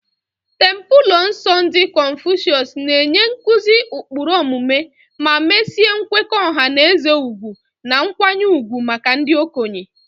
Templelọ nsọ ndị Confucius na-enye nkuzi ụkpụrụ omume ma mesie nkwekọ ọha na eze ugwu na nkwanye ùgwù maka ndị okenye.